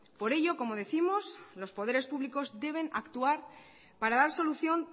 por ello como décimos los poderes públicos deben actuar para dar solución